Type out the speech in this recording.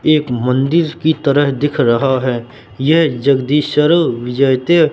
एक मंदिर की तरह दिख रहा है ये जगदीश सर्व विजयते--